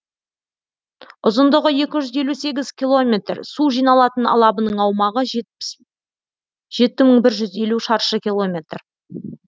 ұзындығы екі жүз елу сегіз километр су жиналатын алабының аумағы жеті мың бір жүз елу шаршы километр